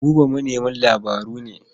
Buba manemin labaru ne.